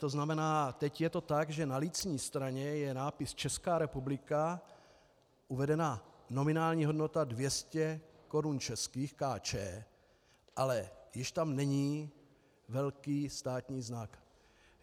To znamená, teď je to tak, že na lícní straně je nápis Česká republika, uvedena nominální hodnota 200 korun českých, Kč, ale již tam není velký státní znak.